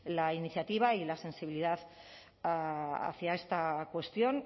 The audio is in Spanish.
la iniciativa y la sensibilidad hacia esta cuestión